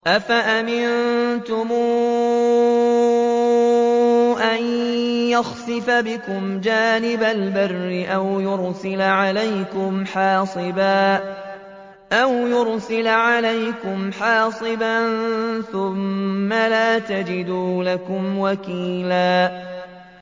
أَفَأَمِنتُمْ أَن يَخْسِفَ بِكُمْ جَانِبَ الْبَرِّ أَوْ يُرْسِلَ عَلَيْكُمْ حَاصِبًا ثُمَّ لَا تَجِدُوا لَكُمْ وَكِيلًا